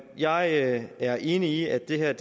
jeg er enig i at det her